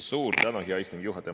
Suur tänu, hea istungi juhataja!